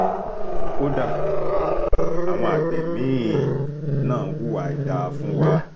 kódà àwọn àgbẹ̀ mí-ín náà hùwà àìdáa fún wa